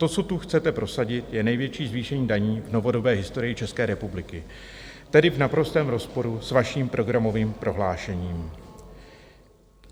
To, co tu chcete prosadit, je největší zvýšení daní v novodobé historii České republiky, tedy v naprostém rozporu s vaším programovým prohlášením.